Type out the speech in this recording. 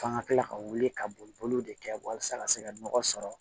F'an ka kila ka wuli ka boli boliw de kɛ walasa ka se ka nɔgɔ sɔrɔ